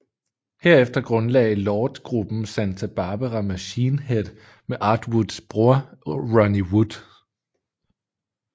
Herefter grundlagde Lord gruppen Santa Barbara Machine Head med Art Woods bror Ronnie Wood